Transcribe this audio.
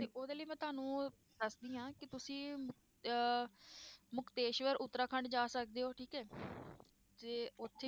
ਤੇ ਉਹਦੇ ਲਈ ਮੈਂ ਤੁਹਾਨੂੰ ਦੱਸਦੀ ਹਾਂ ਕਿ ਤੁਸੀਂ ਅਹ ਮੁਕਤੇਸ਼ਵਰ ਉਤਰਾਖੰਡ ਜਾ ਸਕਦੇ ਹੋ ਠੀਕ ਹੈ ਤੇ ਉੱਥੇ